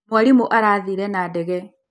Mwarimũ arathire na ndege.